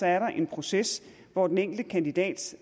er der en proces hvor den enkelte kandidat